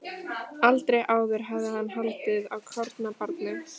Aldrei áður hafði hann haldið á kornabarni.